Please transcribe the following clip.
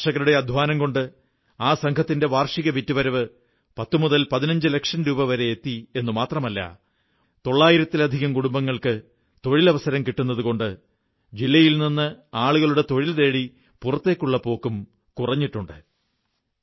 കർഷകരുടെ അധ്വാനം കൊണ്ട് ആ സംഘത്തിന്റെ വാർഷിക വിറ്റുവരവ് 1015 ലക്ഷം രൂപ വരെ എത്തിയെന്നു മാത്രമല്ല 900 ലധികം കുടുംബങ്ങൾക്ക് തൊഴിലവസരം കിട്ടുന്നതുകൊണ്ട് ജില്ലയിൽ നിന്ന് ആളുകളുടെ തൊഴിൽ തേടി പുറത്തേക്കുള്ള പോക്കും കുറഞ്ഞിട്ടുണ്ട്